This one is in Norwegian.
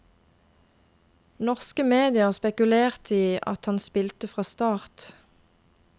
Norske medier spekulerte i at han spilte fra start.